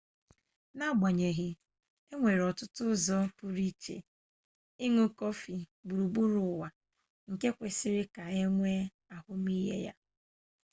n’agbanyeghị e nwere ọtụtụ ụzọ pụrụiche ịn̄ụ kọfị gburugburu ụwa nke kwesịrị ka e nwee ahụmihe ha